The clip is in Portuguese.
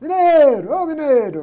ô!